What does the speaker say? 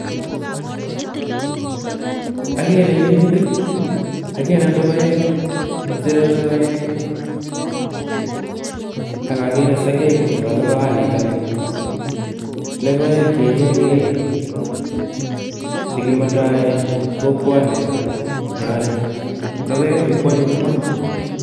Agere minutik, agere lokoek ,sere lokoek, akagee sokek chebo lokoan nito ni. Lokoek che ichekei che kimondoe kokwanenyone, lokoechu ko anyiny ma!